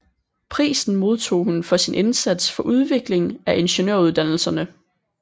Prisen modtog hun for sin indsats for udvikling af ingeniøruddannelserne